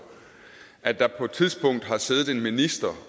at der på et tidspunkt har siddet en minister